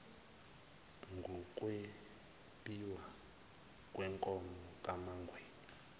ngukwebiwa kwenkomo kamangwenya